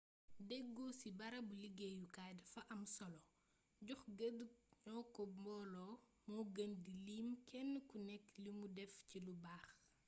deggo ci barabu liggéeyukaay dafa am solo jox gëdd coono mboolo moo gën di lim kenn ku nekk li mu def ci lu baax